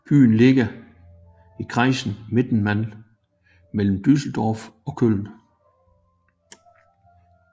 Byen ligger i kreisen Mettmann mellem Düsseldorf og Köln